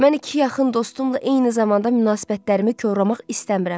Mən iki yaxın dostumla eyni zamanda münasibətlərimi korlamaq istəmirəm.